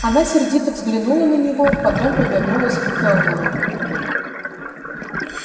она сердито взглянула на него потом повернулась к кэллнеру